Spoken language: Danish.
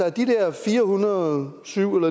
af de der fire hundrede og syv